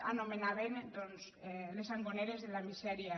anomenaven les sangoneres de la misèria